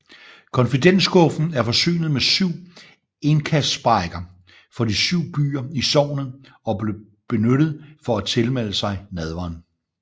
Confitentskuffen er forsynet med syv indkastsprækker for de syv byer i sognet og blev benyttet for at tilmelde sig nadveren